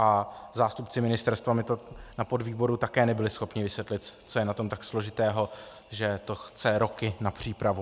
A zástupci ministerstva mi to na podvýboru také nebyli schopni vysvětlit, co je na tom tak složitého, že to chce roky na přípravu.